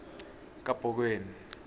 kabhokweni